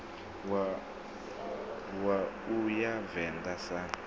wa u ya venḓa sun